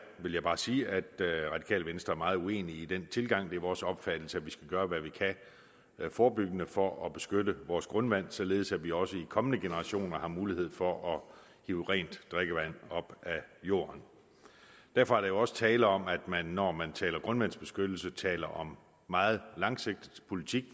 vil jeg bare sige at det radikale venstre er meget uenig i den tilgang det er vores opfattelse at vi skal gøre hvad vi kan forebyggende for at beskytte vores grundvand således at vi også i kommende generationer har mulighed for at hive rent drikkevand op af jorden derfor er der jo også tale om at man når man taler om grundvandsbeskyttelse taler om meget langsigtet politik